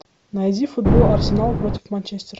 найди футбол арсенал против манчестер